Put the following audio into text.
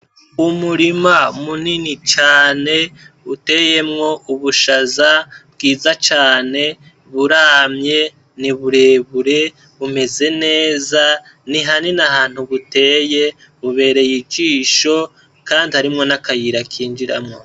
Umurima munini cane uteyemwo ubushaza bwiza cane, buramye, ni burebure ,bumeze neza nihanini ahantu buteye, bubereye ijisho kandi harimwo n'akayira kinjiramwo.